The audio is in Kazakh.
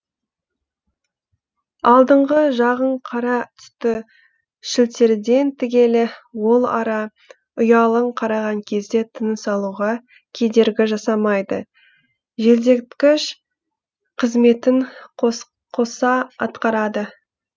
алдыңғы жағын қара түсті шілтерден тігеді ол ара ұяларын қараған кезде тыныс алуға кедергі жасамайды желдеткіш қызметін қоса атқарады